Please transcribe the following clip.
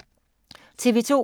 TV 2